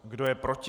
Kdo je proti?